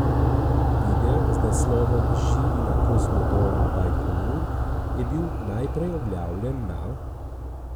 Video z naslovom Živi na kozmodromu Bajkonur je bil najprej objavljen na .